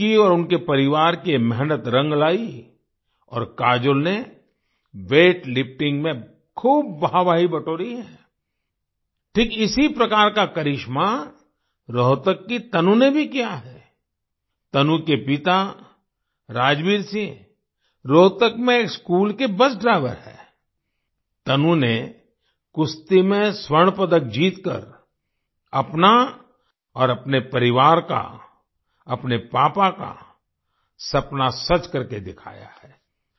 उनकी और उनके परिवार की ये मेहनत रंग लाई और काजोल ने वेट लिफ्टिंग में खूब वाह वाही बटोरी है आई ठीक इसी प्रकार का करिश्मा रोहतक की तनु ने भी किया है आई तनु के पिता राजबीर सिंह रोहतक में एक स्कूल के बस ड्राईवर हैं आई तनु ने कुश्ती में स्वर्ण पदक जीतकर अपना और अपने परिवार का अपने पापा का सपना सच करके दिखाया है आई